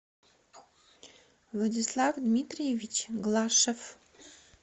владислав дмитриевич глашев